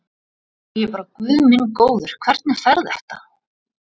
Og ég bara guð minn góður, hvernig fer þetta?